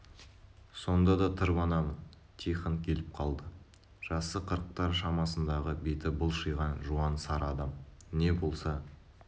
сонда да тырбанамын тихон келіп қалды жасы қырықтар шамасындағы беті былшиған жуан сары адам не болса